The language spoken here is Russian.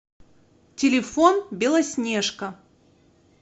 телефон белоснежка